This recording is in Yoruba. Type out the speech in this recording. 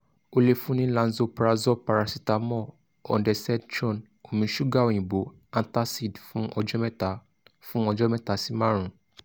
o le fun ni lanzoprazole paracetamol ondensetron omi ṣuga oyinbo antacid fun ọjọ mẹta fun ọjọ mẹta si marun